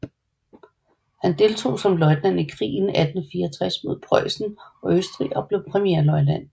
Han deltog som løjtnant i krigen 1864 mod Preussen og Østrig og blev premierløjtnant